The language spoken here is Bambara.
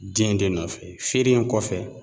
Den de nɔfɛ feere in kɔfɛ